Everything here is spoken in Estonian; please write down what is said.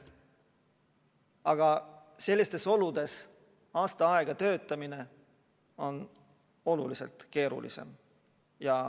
Aga sellistes oludes aasta aega töötamine on oluliselt keerulisem.